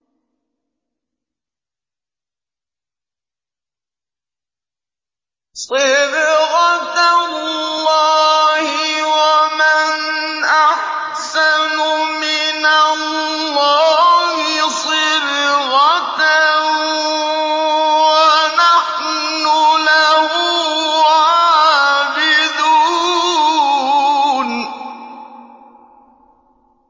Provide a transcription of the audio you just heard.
صِبْغَةَ اللَّهِ ۖ وَمَنْ أَحْسَنُ مِنَ اللَّهِ صِبْغَةً ۖ وَنَحْنُ لَهُ عَابِدُونَ